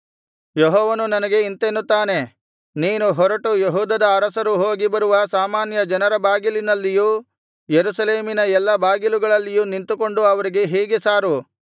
ಯೆಹೋವನು ನನಗೆ ಇಂತೆಂದನು ನೀನು ಹೊರಟು ಯೆಹೂದದ ಅರಸರು ಹೋಗಿ ಬರುವ ಸಾಮಾನ್ಯ ಜನರ ಬಾಗಿಲಿನಲ್ಲಿಯೂ ಯೆರೂಸಲೇಮಿನ ಎಲ್ಲಾ ಬಾಗಿಲುಗಳಲ್ಲಿಯೂ ನಿಂತುಕೊಂಡು ಅವರಿಗೆ ಹೀಗೆ ಸಾರು